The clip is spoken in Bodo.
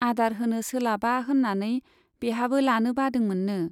आदार होनो सोलाबा होन्नानै बेहाबो लानो बादोंमोन्नो।